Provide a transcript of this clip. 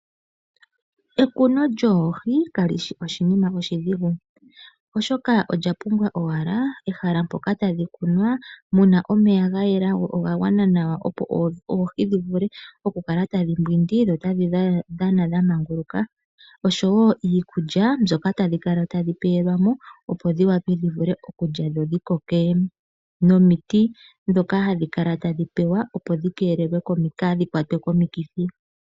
Ekuno lyoohi, kali shi oshinima oshidhigu, oshoka odha pumbwa owala ehala mpoka tadhi kunwa, puna omeya ga yela, go oga gwana nawa opo oohi dhi vule okukala tadhi mbwindi dho tadhi dhana, dha manguluka, osho woo iikulya, mbyoka tadhi kala ta dhi pewelwa mo, nomiti ndhoka tadhi pewa opo kaa dhi kwatwe komikithi.